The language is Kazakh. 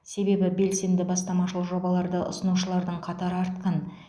себебі белсенді бастамашыл жобаларды ұсынушылардың қатары артқан